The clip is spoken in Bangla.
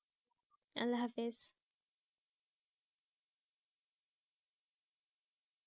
আল্লাহ হাফেজ